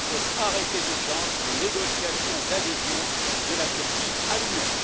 Il faut arrêter d'urgence les négociations d'adhésion de la Turquie à l'Union.